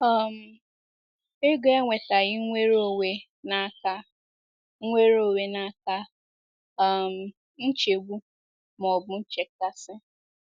um Ego ewetaghi nweronwe n'aka nweronwe n'aka um nchegbu ma ọ bụ nchekasị. ”